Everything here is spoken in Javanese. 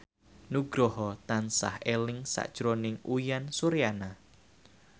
Nugroho tansah eling sakjroning Uyan Suryana